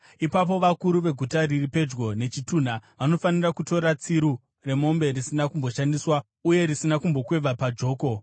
Ipapo vakuru veguta riri pedyo nechitunha vanofanira kutora tsiru remombe risina kumboshandiswa uye risina kumbokweva pajoko,